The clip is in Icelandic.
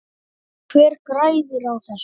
Hver græðir á þessu?